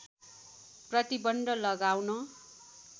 प्रतिबन्ध लगाउन